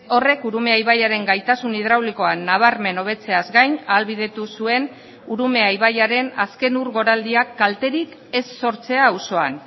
horrek urumea ibaiaren gaitasun hidraulikoan nabarmen hobetzeaz gain ahalbidetu zuen urumea ibaiaren azken ur goraldiak kalterik ez sortzea auzoan